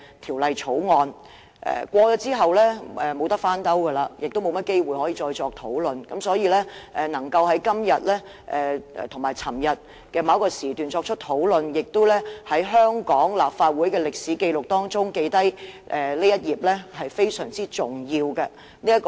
《條例草案》通過後，便沒有甚麼機會可以再作討論，所以議員能在今天及昨天某個時段作出討論，並且在香港立法會的歷史紀錄中留下這一頁，實在非常重要。